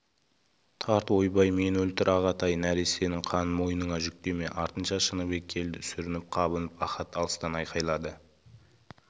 тарт ойбай мені өлтір ағатай нәрестенің қанын мойныңа жүктеме артынша шыныбек келді сүрініп-қабынып ахат алыстан айқайлады